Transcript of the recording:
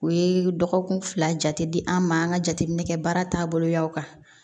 U ye dɔgɔkun fila jate di an ma an ka jateminɛ kɛ baara taaboloya kan